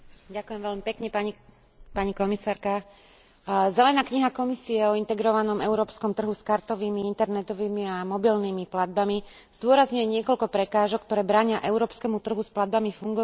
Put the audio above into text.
Zelená kniha Komisie o integrovanom európskom trhu s kartovými, internetovými a mobilnými platbami zdôrazňuje niekoľko prekážok, ktoré bránia európskemu trhu s platbami fungovať čo najúčinnejším a najotvorenejším spôsobom.